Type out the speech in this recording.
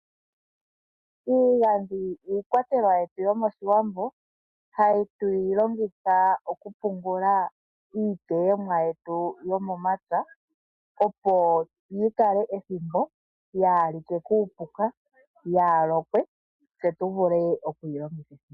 Iigandhi iikwatelwa yetu yomOshiwambo hatu yi longitha oku pungula iiteyomwa yetu yomomapya opo yi kale ethimbo yaa like kuupuka, yaa lokwe tse tu vule oku yi longitha.